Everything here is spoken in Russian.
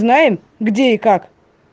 знаем где и как